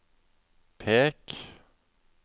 pek